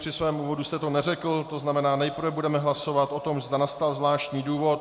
Při svém úvodu jste to neřekl, to znamená, nejprve budeme hlasovat o tom, zda nastal zvláštní důvod.